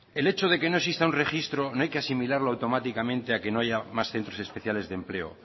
el hecho de que no exista un registro no hay que asimilarlo automáticamente a que no haya más centros especiales de empleo